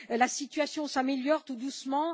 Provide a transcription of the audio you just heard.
La situation s'améliore tout doucement.